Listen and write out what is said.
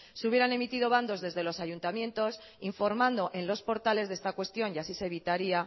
se hubieran emitido bandos desde los ayuntamientos informando en los portales de esta cuestión y así se evitaría